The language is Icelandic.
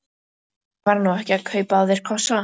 Ég var nú ekki að kaupa af þér kossa.